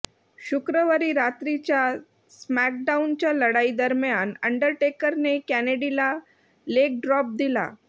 शुक्रवारी रात्रीच्या स्मॅकडाउनच्या लढाई दरम्यान अंडरटेकरने केनेडीला लेग ड्रॉप दिला